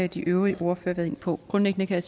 de øvrige ordførere været inde på grundlæggende kan